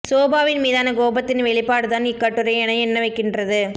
சோபாவின் மீதான கோபத்தின் வெளிப்பாடு தான் இக் கட்டுரை என எண்ண வைக்கின்றது